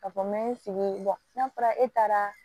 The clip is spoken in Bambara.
Ka fɔ n bɛ n sigi n'a fɔra e taara